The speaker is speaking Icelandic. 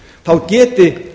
þá geti